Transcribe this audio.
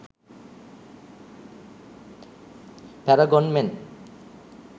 paragon men